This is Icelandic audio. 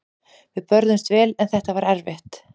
Við börðumst vel en þetta var erfitt.